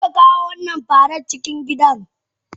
Karka kawo wannan faran cikin gidan.!